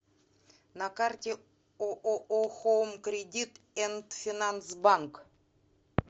на карте ооо хоум кредит энд финанс банк